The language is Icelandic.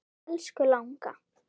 Elsku langa.